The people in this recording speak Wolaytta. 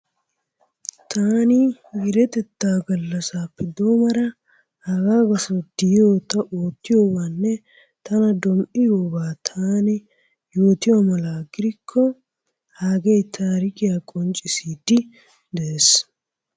Taani meretetta gallassappe doommara hagaa gasso ta oottiyobanne tana dom"iyooba taani yootiyo mala gidikko hagee taarikkiyaa qonccissidi de'ees.